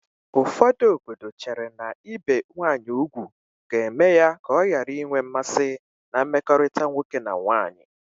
Ụfọdụ obodo chere na ibe nwanyị ugwu ga-eme ya ọ ghara inwe mmasị na mmekọrịta nwoke na nwanyị